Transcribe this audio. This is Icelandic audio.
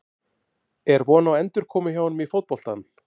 Er von á endurkomu hjá honum í fótboltann?